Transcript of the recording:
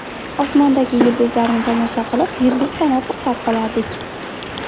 Osmondagi yulduzlarni tomosha qilib, yulduz sanab uxlab qolardik.